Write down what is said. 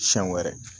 Siɲɛ wɛrɛ